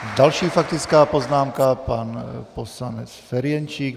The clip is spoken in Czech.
Další faktická poznámka, pan poslanec Ferjenčík.